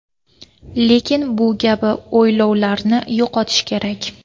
Lekin bu kabi o‘ylovlarini yo‘qotish kerak.